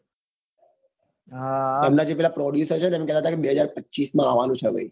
એમના જે પહેલા produser છે ને નતા કહેતા કે બે હજાર પચીસ માં આવવાનું છે ભાઈ